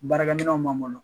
Baarakɛminɛnw b'an bolo